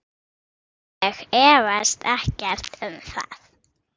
Ég efast ekkert um það.